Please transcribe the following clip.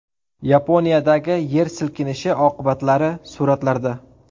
Yaponiyadagi yer silkinishi oqibatlari suratlarda.